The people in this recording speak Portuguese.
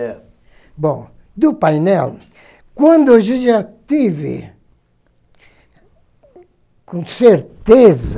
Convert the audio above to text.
É. Bom, do painel, quando eu já já tive, com certeza,